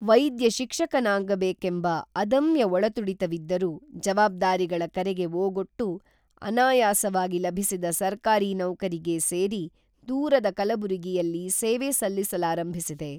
ವೈದ್ಯ ಶಿಕ್ಷಕನಾಗಬೇಕಂಬ ಅದಮ್ಯ ಒಳತುಡಿತವಿದ್ದರೂ, ಜವಾಬ್ದಾರಿಗಳ ಕರೆಗೆ ಓಗೊಟ್ಟು ಅನಾಯಾಸವಾಗಿ ಲಭಿಸಿದ ಸರ್ಕಾರಿ ನೌಕರಿಗೆ ಸೇರಿ ದೂರದ ಕಲಬುರಗಿಯಲ್ಲಿ ಸೇವೆ ಸಲ್ಲಿಸಲಾರಂಭಿಸಿದೆ.